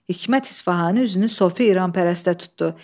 Hikmət İsfahani üzünü Sofi İranpərəstə tutdu.